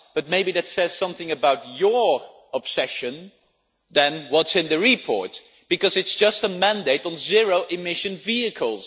Maybe that says something about your obsession rather than what is in the report, because it is just a mandate on zero-emission vehicles.